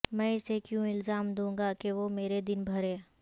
میں اسے کیوں الزام دوں گا کہ وہ میرے دن بھرے